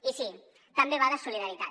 i sí també va de solidaritat